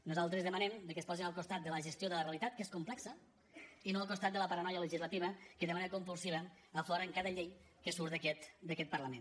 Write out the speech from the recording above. nosaltres demanem que es posin al costat de la gestió de la realitat que és complexa i no al costat de la paranoia legislativa que de manera compulsiva aflora en cada llei que surt d’aquest parlament